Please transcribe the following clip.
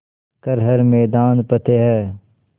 कर हर मैदान फ़तेह